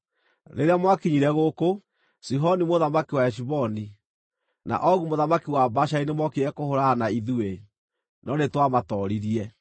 Rĩrĩa mwakinyire gũkũ, Sihoni mũthamaki wa Heshiboni, na Ogu mũthamaki wa Bashani nĩmookire kũhũũrana na ithuĩ, no nĩtwamatooririe.